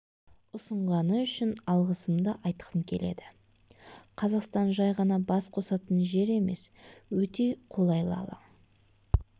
ұсынғаны үшін алғысымды айтқым келеді қазақстан жай ғана бас қосатын жер емес өте қолайлы алаң